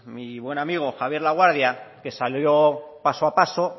mi buen amigo javier laguardia que salió paso a paso